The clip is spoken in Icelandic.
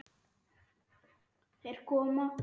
Þeir koma!